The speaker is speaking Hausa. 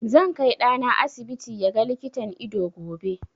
Zan kai ɗana asibiti ya ga likitan ido gobe.